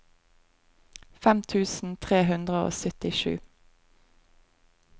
fem tusen tre hundre og syttisju